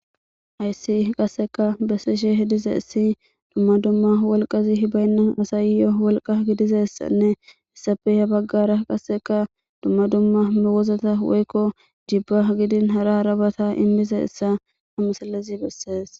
ayssi qasseka bessishe hediza issi dumma dumma wolqazi hibaynna asayyo wolqa gidizassanne issafeha baggara qasseka dumma dumma mewozata woykko jibba gidin hara arabata immize issa hamusallezi bessees